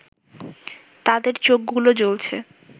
তাদের চোখগুলো জ্বলছে